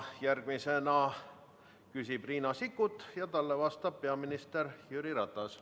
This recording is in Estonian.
Järgmisena küsib Riina Sikkut ja talle vastab peaminister Jüri Ratas.